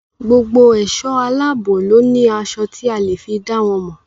Gbogbo èso aláàbò ló ní aṣọ tí a fi le è dá wọn mọ̀.